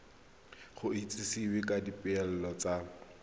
go itsisiwe ka dipoelo tsa